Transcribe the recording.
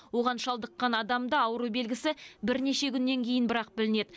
оған шалдыққан адамда ауру белгісі бірнеше күннен кейін бірақ білінеді